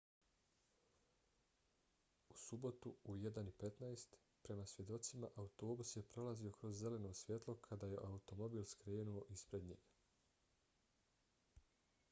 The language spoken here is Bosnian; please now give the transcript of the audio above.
u subotu u 01:15 prema svjedocima autobus je prolazio kroz zeleno svjetlo kada je automobil skrenuo ispred njega